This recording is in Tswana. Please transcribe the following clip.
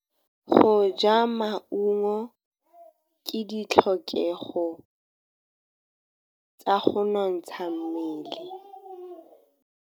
Go ja maungo ke ditlhokegô tsa go nontsha mmele.